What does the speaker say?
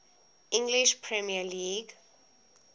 english premier league